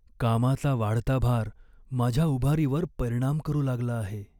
कामाचा वाढता भार माझ्या उभारीवर परिणाम करू लागला आहे.